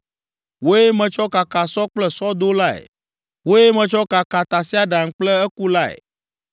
Wòe metsɔ kaka sɔ kple sɔdolae, wòe metsɔ kaka tasiaɖam kple ekulae.